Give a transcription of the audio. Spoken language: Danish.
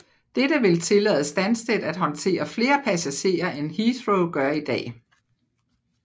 Dette vil tillade Stansted at håndtere flere passagerer end Heathrow gør i dag